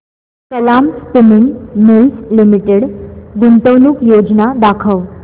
Kalam spinning mills limited गुंतवणूक योजना दाखव